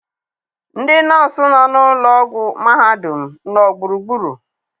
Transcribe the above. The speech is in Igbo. ndị nọọsụ nọ na ụlọ ọgwụ mahadum nọ gburugburu?